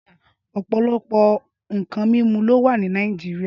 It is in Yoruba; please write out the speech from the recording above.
Ọpọlọpọ nkàn mimú ló wà ni Nàijiriá